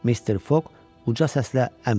Mister Foq uca səslə əmr verdi: